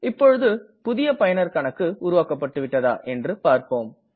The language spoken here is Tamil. இப்பொழுது புதிய பயனர் கணக்கு உருவாக்கப்பட்டுவிட்டதா என்று பார்ப்போம்